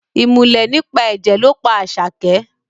Ìmùlẹ̀ nípa ẹ̀jẹ̀ ló pa Àṣàkẹ́